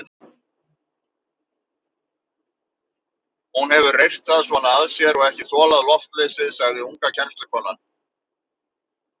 Hún hefur reyrt það svona að sér og ekki þolað loftleysið, sagði unga kennslukonan.